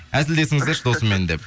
әзілдесіңіздерші досыммен деп